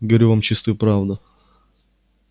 говорю вам чистую правду